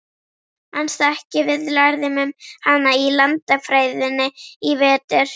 Manstu ekki, við lærðum um hana í landafræðinni í vetur?